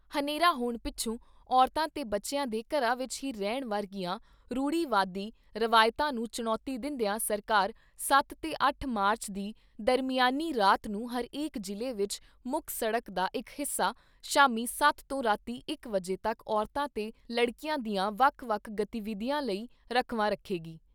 ਹਨੇਰਾ ਹੋਣ ਪਿੱਛੋਂ ਔਰਤਾਂ ਤੇ ਬੱਚਿਆਂ ਦੇ ਘਰਾਂ ਵਿਚ ਹੀ ਰਹਿਣ ਵਰਗੀਆਂ ਰੂੜੀਵਾਦੀ ਰਵਾਇਤਾਂ ਨੂੰ ਚੁਣੌਤੀ ਦਿੰਦਿਆਂ ਸਰਕਾਰ ਸੱਤ ਤੇ ਅੱਠ ਮਾਰਚ ਦੀ ਦਰਮਿਆਨੀ ਰਾਤ ਨੂੰ ਹਰੇਕ ਜ਼ਿਲ੍ਹੇ ਵਿਚ ਮੁੱਖ ਸੜਕ ਦਾ ਇਕ ਹਿੱਸਾ ਸ਼ਾਮੀਂ ਸੱਤ ਤੋਂ ਰਾਤੀਂ ਇਕ ਵਜੇ ਤੱਕ ਔਰਤਾਂ ਤੇ ਲੜਕੀਆਂ ਦੀਆਂ ਵੱਖ ਵੱਖ ਗਤੀਵਿਧੀਆਂ ਲਈ ਰਾਖਵਾਂ ਰੱਖੇਗੀ।